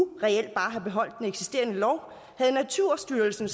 reelt bare have beholdt den eksisterende lov havde naturstyrelsen